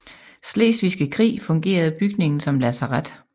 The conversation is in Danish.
Slesvigske krig fungerede bygningen som lazaret